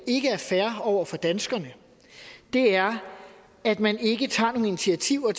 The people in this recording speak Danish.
ikke er fair over for danskerne er at man ikke tager nogen initiativer